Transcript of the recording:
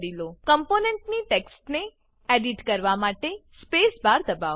કમ્પોનેંટની ટેક્સ્ટને એડીટ કરવા માટે સ્પેસ બાર દબાવો